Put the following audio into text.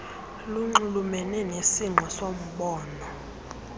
lunxulumene nesingqi soombongo